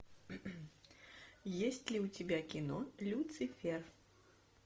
есть ли у тебя кино люцифер